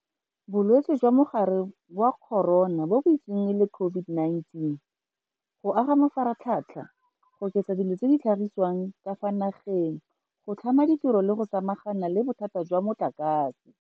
Bolwetse jwa Mogare wa Corona bo bitsiweng e le COVID-19, go aga mafaratlhatlha, go oketsa dilo tse di tlhagisiwang ka fa nageng, go tlhama ditiro le go samagana le bothata jwa motlakase.